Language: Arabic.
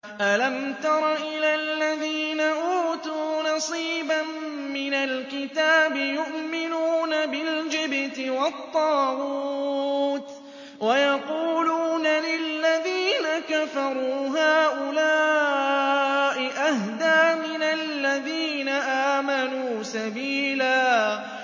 أَلَمْ تَرَ إِلَى الَّذِينَ أُوتُوا نَصِيبًا مِّنَ الْكِتَابِ يُؤْمِنُونَ بِالْجِبْتِ وَالطَّاغُوتِ وَيَقُولُونَ لِلَّذِينَ كَفَرُوا هَٰؤُلَاءِ أَهْدَىٰ مِنَ الَّذِينَ آمَنُوا سَبِيلًا